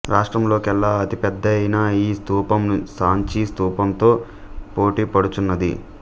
రాష్ట్రంలోకెల్లా అతి పెద్దదయిన ఈ స్థూపం సాంచీ స్థూపంతో పోటీపడుచున్నది